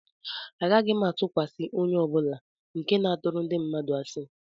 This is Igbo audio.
Agaghị m atụkwasị onye ọ bụla nke na-atụrụ ndị mmadụ asị